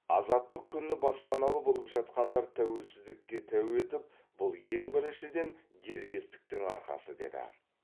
азаттық күні баспаналы болып жатқандар тәуелсіздікке тәу етіп бұл ең біріншіден дербестіктің арқасы деді